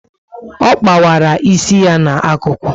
Ọ kpawara isi ya na ákụkụ